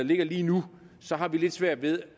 ligger lige nu har vi lidt svært ved